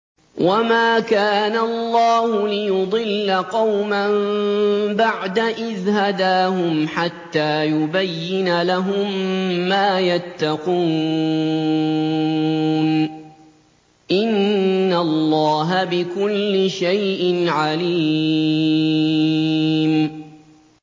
وَمَا كَانَ اللَّهُ لِيُضِلَّ قَوْمًا بَعْدَ إِذْ هَدَاهُمْ حَتَّىٰ يُبَيِّنَ لَهُم مَّا يَتَّقُونَ ۚ إِنَّ اللَّهَ بِكُلِّ شَيْءٍ عَلِيمٌ